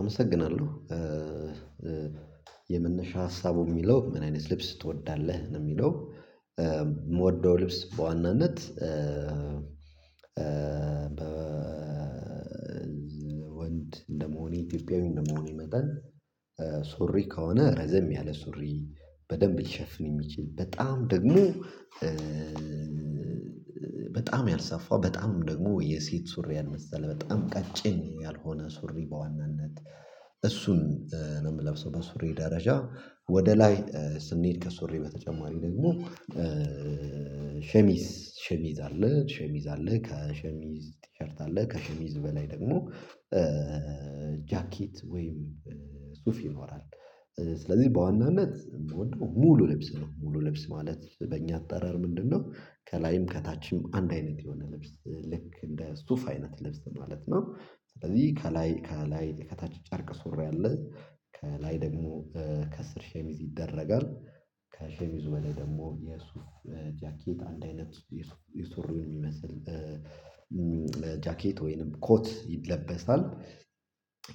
አመሰግናለሁ የመነሻ ሀሳቡ የሚለው ምን አይነት ልብስ ትወዳለህ ነው የሚለው? የምወደው ልብስ በዋናነት በ ወንድ እንደመሆኔ ኢትዮጵያዊ እንደመሆኔ መጠን ሱሪ ከሆነ ረዘም ያለ ሱሪ በደንብ ሊሸፍን የሚችል በጣም ደግሞ በጣም ያልሰፋው በጣም ደግሞ የሴት ሱሪ ያልመሰለ በጣም ቀጭን ያልሆነ ሱሪ በዋናነት እሱን ነው የምለብሰው። በሱሪ ደረጃ ወደ ላይ ስንሄድ ከሱሪ በተጨማሪ ደግሞ ሸሚዝ ሸሚዝ አለ ሸሚዝ አለ ከሸሚዝ ቲሸርት አለ ከሸሚዝ በላይ ደግሞ ጃኬት ወይም ሱፍ ይኖራል። ስለዚህ በዋናነት ሙሉ ልብስ ነው ሙሉ ልብስ ማለት በእኛ አጠራር ምንድነው ከላይም ከታችም አንድ አይነት የሆነ ልብስ ልክ እንደ ሱፍ አይነት ልብስ ማለት ነው። ስለዚህ ከላይ ከላይ ከታች ጨርቅ ሱሪ አለ ከላይ ደግሞ ከስር ሸሚዝ ይደረጋል ከሸሚዙ በላይ ደግሞ የሱፍ ጃኬት አንድ አይነት የሱሪውን የሚመስል ጃኬት ወይንም ኮት ይለበሳል።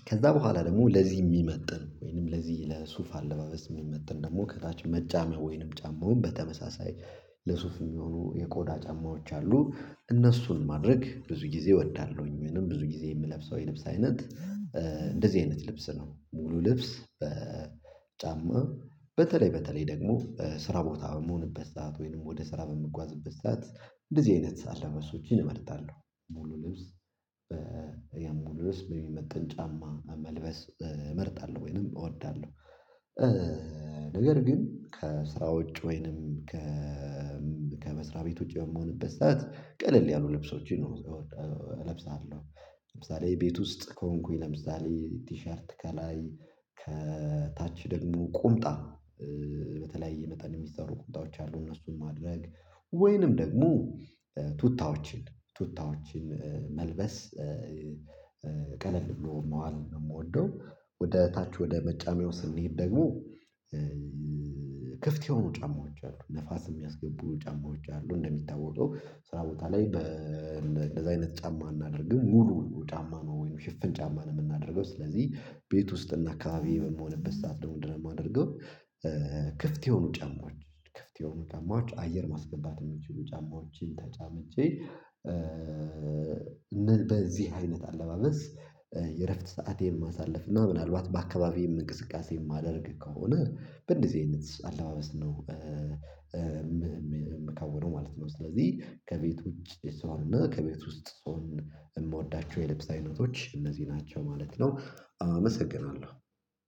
ከዛ በኋላ ደግሞ ለዚህ የሚመጥን ወይንም ለዚህ ለሱፍ አለባበስ የሚመጥን ደግሞ ከታች መጫሚያ ወይንም ጫማውን በተመሳሳይ ለሱፍ የሚሆኑ የቆዳ ጨማዎች አሉ እነሱን ማድረግ ብዙ ጊዜ እወዳለሁኝ ወይም ብዙ ጊዜ የምለብሰው የልብስ አይነት እንደዚህ አይነት ልብስ ነው። ሙሉ ልብስ ጫማ በተለይ በተለይ ደግሞ ስራ ቦታ በምሆንበት ሰዓት ወይንም ወደ ስራ በምጓዝበት ሰዓት እንደዚህ አይነት አለባበሶችን እመርጣለሁ ሙሉ ልብስ የሙሉ ልብስ በሚመጠን ጫማ መልበስ እመርጣለሁ ወይንም እወዳለሁ። ነገር ግን ከስራ ውጪ ወይንም ከመስሪያ ቤት ውጪ በምሆንበት ሰዓት ቀለል ያሉ ልብሶችን ለብሳለሁ ለምሳሌ ቤት ውስጥ ከሆንኩኝ ለምሳሌ ቲሸርት ከላይ ከታች ደግሞ ቁምጣ በተለያየ መጠን የሚሰሩ ቁምጣዎች አሉ እነሱን ማድረግ ወይንም ደግሞ ቱታዎችን ቱታዎችን መልበስ ቀለል ብሎ መዋል ነው የምወደው። ወደ ታች ወደ መጫሚያው ስንሄድ ደግሞ ክፍት የሆኑ ጫማዎች አሉ ንፋስ የሚያስገቡ ጫማዎች አሉ እንደሚታወቀው ስራ ቦታ ላይ እንደዚህ አይነት ጫማ እናደርግም ሙሉ ጫማ ነው ወይንም ሽፍን ጫማ ነው የምናደርገው። ስለዚህ ቤት ውስጥ እና አካባቢዬ በምሆንበት ሰዓት ደግሞ ምንድን የማደርገው ክፍት የሆኑ ጫማዎች ክፍት የሆኑ ጫማዎች አየር ማስገባት የሚችሉ ጫማዎችን ተጫምቼ በዚህ አይነት አለባበስ የእረፍት ሰአቴን ማሳልፍ ነው። ምናልባት በአካባቢዬም እንቅስቃሴ የማደርግ ከሆነ በእንደዚህ አይነት አለባበስ ነው የምከውነው ማለት ነው። ስለዚህ ከቤት ውጪ ሰው ነው ከቤት ውስጥ ሰው የምወዳቸው የልብስ አይነቶች እነዚህ ናቸው ማለት ነው። አመሰግናለሁ